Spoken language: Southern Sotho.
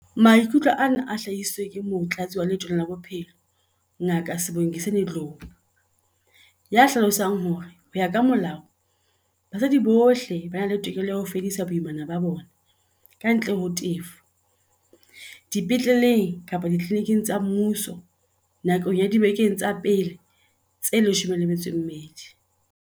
Maikutlo ana a hlahisitswe ke Motlatsi wa Letona la Bophelo, Ngaka Sibongiseni Dhlomo, ya hlalosang hore, ho ya ka molao, basadi bohle ba na le tokelo ya ho fedisa boimana ba bona, kantle ho tefo, dipetleleng kapa ditliliniking tsa mmuso nakong ya dibeke tsa pele tse 12.